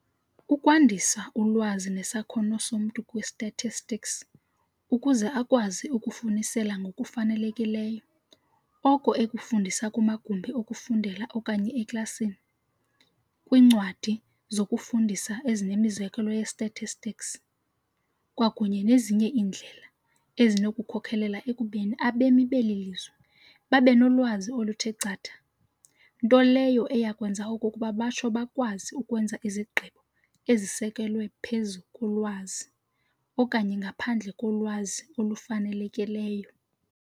Ukwandisa ulwazi nesakhono somntu kwi-statistics, ukuze akwazi ukufunisela ngokufanelekileyo, oko ekufunds kumagumbi okufundela okanye eklasini, kwincwadi zokufundisa ezinemizekelo ye-statistics, kwakunye nezinye iindlela, ezinokukhokelela ekubeni abemi beli lizwe babenolwazi oluthe chatha, nto leyo eyakwenza okokuba batsho bakwazi ukwenza izigqibo ezisekelwe phezu kolwazi, okanye ngaphandle kolwazi olufanelekileyo.